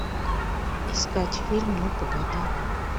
искать фильм ну погоди